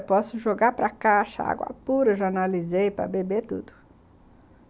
Eu posso jogar para caixa, água pura, já analisei, para beber, tudo.